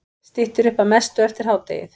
Styttir upp að mestu eftir hádegið